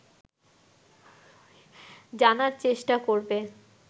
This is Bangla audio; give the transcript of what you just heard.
জানার চেষ্টা করবে